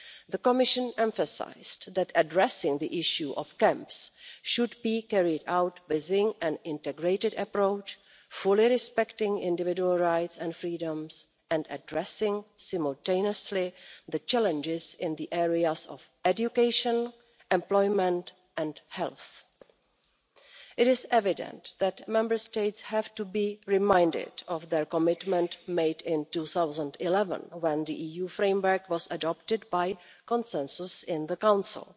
the Commission emphasised that addressing the issue of camps should be carried out within an integrated approach, fully respecting individual rights and freedoms, and addressing simultaneously the challenges in the areas of education, employment and health. It is evident that Member States have to be reminded of their commitment made in 2011 when the EU framework was adopted by consensus in the Council.